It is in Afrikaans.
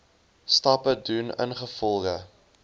stappe doen ingevolge